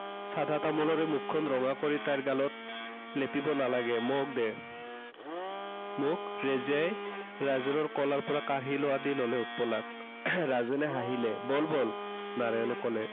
চাধা তামোলেৰে মুখখন ৰঙা কৰি তাইৰ গালত, লেপিব নালাগে। মোক দে মোক ৰেজিয়াই, ৰাজেনৰ কোলাৰ পৰা কাঢ়ি লোৱাৰ দৰে ল'লে উৎপলাক। ৰাজেনে হাঁহিলে। ব'ল ব'ল নাৰায়ণে কলে।